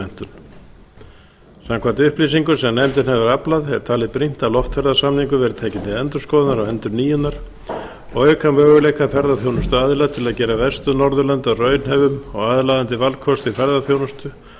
um ferðamálamenntun samkvæmt upplýsingum sem nefndin hefur aflað er talið brýnt að loftferðasamningar verði teknir til endurskoðunar og endurnýjunar til að auka möguleika ferðaþjónustuaðila við að gera vestur norðurlönd að raunhæfum og aðlaðandi valkosti í ferðaþjónustu